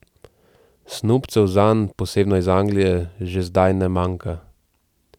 Snubcev zanj, posebno iz Anglije, že zdaj ne manjka.